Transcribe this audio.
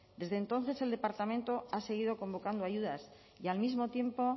desde entonces el departamento ha seguido convocando ayudas y al mismo tiempo